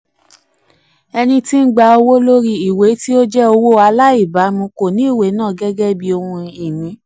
ẹni tí ń gba owó lórí ìwé tí ó jẹ́ owó aláìbámu kò ní ìwé náà gẹ́gẹ́ bí ohun-ini.